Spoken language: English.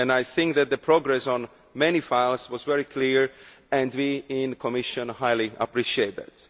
I think that progress on many files was very clear, and we in the Commission highly appreciate that.